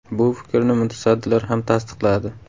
Bu fikrni mutasaddilar ham tasdiqladi.